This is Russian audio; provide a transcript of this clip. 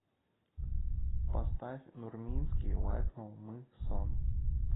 поставь нурминский лайкнул мы сон